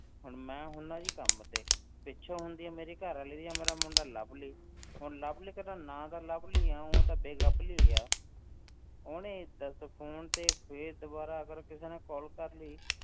ਹੁਣ ਮੈਂ ਹੁੰਦਾ ਹਾਂ ਜੀ ਕੰਮ ਤੇ, ਪਿੱਛੋਂ ਹੁੰਦੀ ਹੈ ਮੇਰੀ ਘਰ ਵਾਲੀ ਜਾਂ ਮੇਰਾ ਮੁੰਡਾ ਲਵਲੀ, ਹੁਣ ਲਵਲੀ ਕਿਤੇ ਨਾਂ ਦਾ ਲਵਲੀ ਆ ਊਂ ਤੇ ਬੇਗਵਲੀ ਹੈ, ਉਹਨੇ ਦੱਸ phone ਤੇ ਫਿਰ ਦੁਬਾਰਾ ਅਗਰ ਕਿਸੇ ਨੇ call ਕਰ ਲਈ,